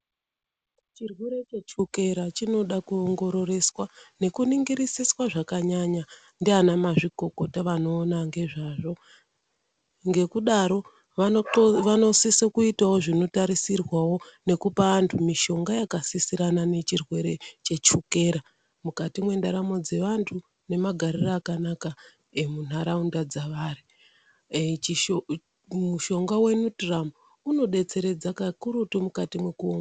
Chirwere chechukera chinoda kuongororeswa, neku ningirisiswa zvakanyanya, ndiana mazvikokota anoona nezvazvo. Ngekudaro, vano sise kuitawo zvino tarisirwawo nekupa antu mishonga yakasisirana nechirwere chechukera, mukati mendaramo dzevantu, nemagarire akanaka emunharaunda dzevanhu. Mushonga weNutrum unobetseredza kakurutu mukati meku..